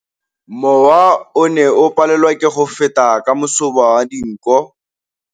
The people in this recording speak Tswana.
Mowa o ne o palelwa ke go feta ka masoba a dinko.